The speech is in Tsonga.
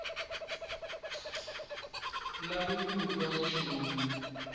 lavi ku twa nchumu hi